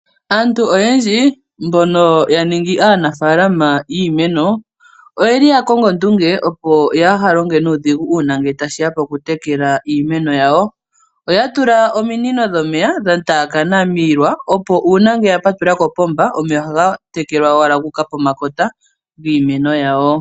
Aantu oyendji mbono ya ningi aanafaalama yiimeno oya kongo ondunge opo kaaya longe nuudhigu uuna tashi ya pokutekela iimeno yawo. Oya tula ominino dhomeya dhataakana miilwa opo uuna ya patulula kopomba omeya ohaga tekelwa owala gu uka pomakota giimeno yawo.